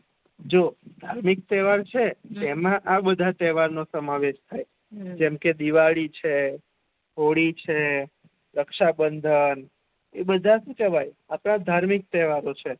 જો ધાર્મિક તેહવાર છે. એ મા આ બધા તેહવાર નો સેમાવેશ થાય જેમ કે દિવાળી છે હોળી છે રક્ષાબંધન એ બધા શુ કેહવાય આપણા ધાર્મિક તેહવારો છે